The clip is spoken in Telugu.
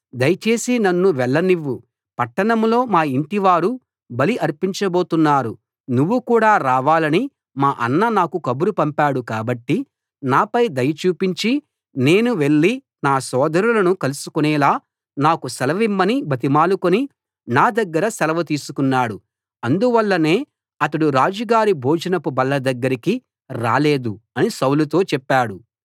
దయచేసి నన్ను వెళ్లనివ్వు పట్టణంలో మా యింటివారు బలి అర్పించబోతున్నారు నువ్వు కూడా రావాలని మా అన్న నాకు కబురు పంపాడు కాబట్టి నాపై దయ చూపించి నేను వెళ్లి నా సోదరులను కలుసుకోనేలా నాకు సెలవిమ్మని బతిమాలుకుని నా దగ్గర సెలవు తీసుకున్నాడు అందువల్లనే అతడు రాజుగారి భోజనపు బల్ల దగ్గరికి రాలేదు అని సౌలుతో చెప్పాడు